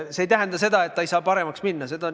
See ei tähenda seda, et olukord ei saa paremaks minna.